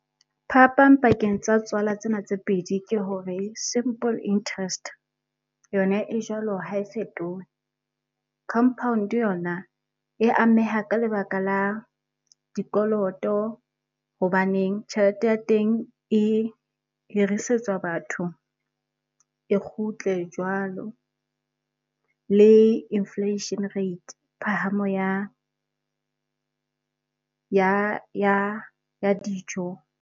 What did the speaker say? Phapang pakeng tsa tswala tsena tse pedi, ke hore simple interest yona e jwalo ha e fetohe. Compound yona e ameha ka lebaka la dikoloto hobaneng tjhelete ya teng e hirisetswa batho e kgutle jwalo. Le inflation rate, phahamo ya dijo.